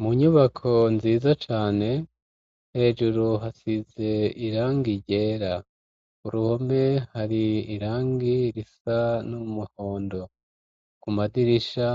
Mu nyubako, nziza cane, hejuru hasize irangi ryera; uruhome, hari irangi risa n'umuhondo; ku madirisha,